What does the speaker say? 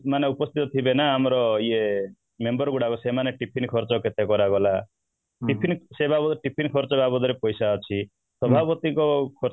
ମାନେ ଉପସ୍ଥିତ ଥିବେ ନା ଆମର ଇୟେ member ଗୁଡାକ ସେମାନେ tiffin ଖର୍ଚ୍ଚ କେତେ କରାଗଲା tiffin ସେଇ ବାବଦରେ tiffin ଖର୍ଚ୍ଚ ବାବଦରେ ପଇସା ଅଛି ସଭାପତିତ୍ୱ